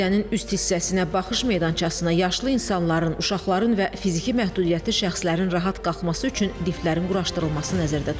Abidənin üst hissəsinə baxış meydançasına yaşlı insanların, uşaqların və fiziki məhdudiyyətli şəxslərin rahat qalxması üçün liftlərin quraşdırılması nəzərdə tutulub.